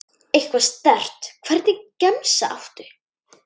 Eitthvað sterkt Hvernig gemsa áttu?